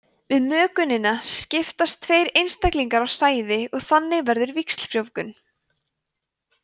við mökunina skiptast tveir einstaklingar á sæði og þannig verður víxlfrjóvgun